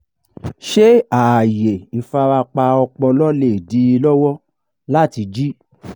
ṣé ààyè ìfarapa ọpọlọ lè dí i lọ́wọ́ láti jí?